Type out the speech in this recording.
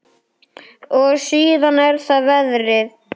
Og síðan er það veðrið.